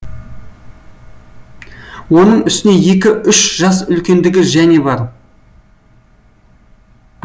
оның үстіне екі үш жас үлкендігі және бар